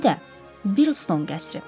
İndi də Birton qəsri.